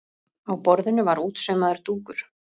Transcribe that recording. Á borðinu var útsaumaður dúkur.